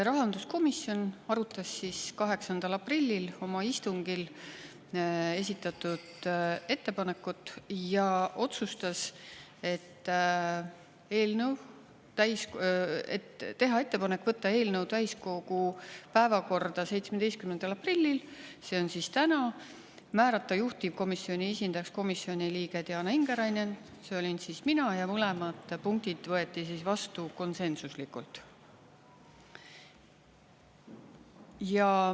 Rahanduskomisjon arutas 8. aprillil oma istungil esitatud ettepanekut ja otsustas teha ettepaneku võtta eelnõu täiskogu päevakorda 17. aprillil, see on siis täna, määrata juhtivkomisjoni esindajaks komisjoni liige Diana Ingerainen, see olin siis mina, ja mõlemad punktid võeti vastu konsensuslikult.